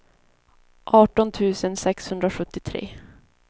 arton tusen sexhundrasjuttiotre